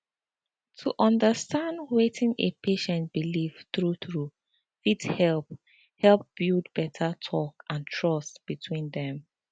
to understand wetin a patient believe true true fit help help build better talk and trust between dem